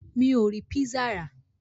Mi ò rí písà rà.